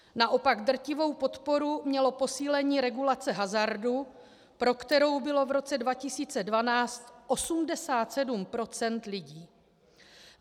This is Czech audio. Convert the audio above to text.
Naopak drtivou podporu mělo posílení regulace hazardu, pro kterou bylo v roce 2012 87 % lidí.